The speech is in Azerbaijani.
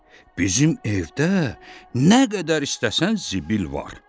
Bizim evdə nə qədər istəsən zibil var.